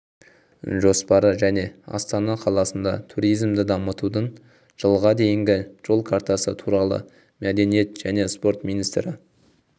жоспары және астана қаласында туризмды дамытудың жылға дейінгі жол картасы туралы мәдениет және спорт министрі